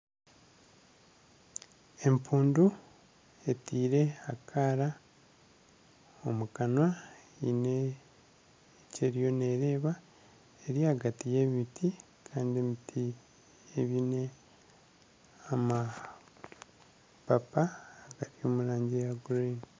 Empundu etiire akaara omu kanwa eine ekyeriyo nereeba. Eri ahagati y'emiti Kandi emiti eine amapapa gari omu rangi ya gurini.